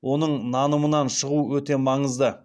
оның нанымынан шығуы өте маңызды